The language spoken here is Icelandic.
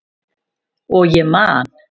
Og ég man.